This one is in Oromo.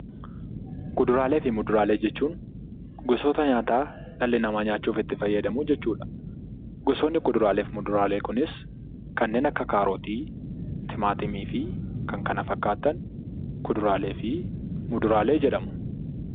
Kuduraalee fi muduraalee jechuun gosoota nyaataa dhalli namaa nyaachuuf itti fayyadamuu jechuudha. Gosoonni kuduraalee fi muduraalee Kunis kanneen akka kaarotii, timaatimii fi kanneen kana fakkaatan kuduraalee fi muduraalee jedhamu.